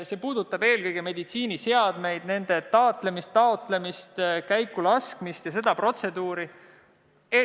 See puudutab eelkõige meditsiiniseadmeid, nende taatlemist, taotlemist, käikulaskmist ja seda protseduuri.